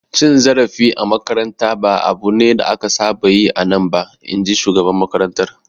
Cin zarafi a makaranta ba abu ne da aka saba yi a nan ba, in ji shugaban makarantar.